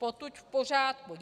Potud v pořádku.